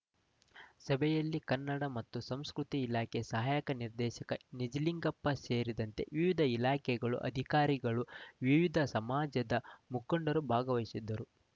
ಸಭೆಯಲ್ಲಿ ಕನ್ನಡ ಮತ್ತು ಸಂಸ್ಕೃತಿ ಇಲಾಖೆ ಸಹಾಯಕ ನಿರ್ದೇಶಕ ನಿಜಲಿಂಗಪ್ಪ ಸೇರಿದಂತೆ ವಿವಿಧ ಇಲಾಖೆಗಳ ಅಧಿಕಾರಿಗಳು ವಿವಿಧ ಸಮಾಜದ ಮುಖಂಡರುಗಳು ಭಾಗವಹಿಸಿದ್ದರು